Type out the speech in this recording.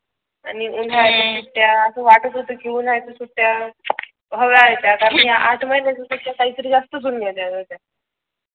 आणि उन्हाळ्याच्या सुट्ट्या असं वाटत होतं उन्हाळ्याच्या सुट्ट्यया हव्या आहेत यासाठ आठ महिन्यांच्या. काहीतरी जास्त घेतल्या होत्या.